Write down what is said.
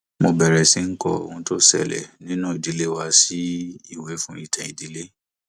mo bẹrẹ sí í kọ ohun tó ń ṣẹlẹ nínú ìdílé wa sí ìwé fún ìtàn ìdílé